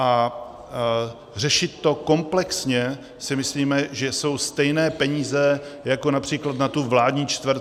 A řešit to komplexně, si myslíme, že jsou stejné peníze jako například na tu vládní čtvrť.